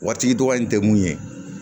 Waritigi dɔgɔya in tɛ mun ye